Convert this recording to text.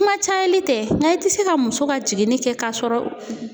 Kuma cayali tɛ nga i tɛ se ka muso ka jiginni kɛ k'a sɔrɔ